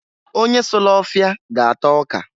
Onye sulu ọfịa ga-ata ọka.